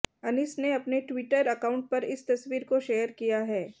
अनीस ने अपने twitter account पर इस तस्वीर को शेयर किया है